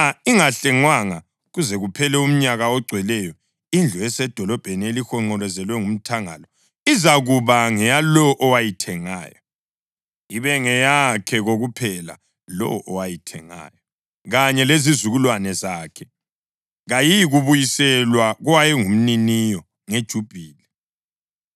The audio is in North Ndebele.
Nxa ingahlengwanga kuze kuphele umnyaka ogcweleyo, indlu esedolobheni elihonqolozelwe ngomthangala izakuba ngeyalowo owayithengayo, ibe ngeyakhe kokuphela lowo owayithengayo kanye lezizukulwane zakhe. Kayiyikubuyiselwa kowayengumniniyo ngeJubhili.